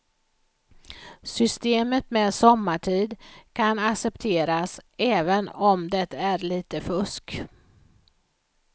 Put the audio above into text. Systemet med sommartid kan accepteras även om det är lite fusk.